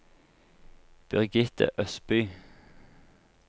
Birgitte Østby